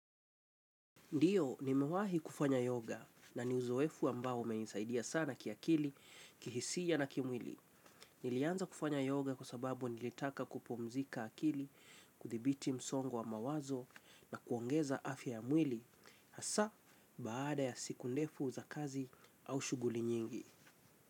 Ndiyo, nimewahi kufanya yoga na ni uzoefu ambao umenisaidia sana kiakili, kihisia na kimwili. Nilianza kufanya yoga kwa sababu nilitaka kupumzika akili, kuthibiti msongo wa mawazo na kuongeza afya ya mwili. Asa, baada ya siku ndefu za kazi au shuguli nyingi.